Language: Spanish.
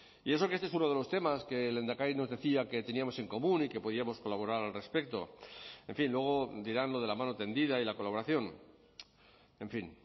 y eso que este es uno de los temas que el lehendakari nos decía que teníamos en común y que podíamos colaborar al respecto en fin luego dirán lo de la mano tendida y la colaboración en fin